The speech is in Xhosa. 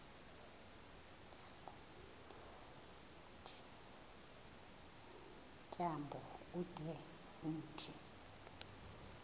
tyambo ude umthi